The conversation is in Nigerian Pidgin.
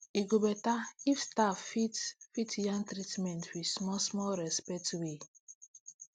e go better if staff fit fit yarn treatments with small small respect way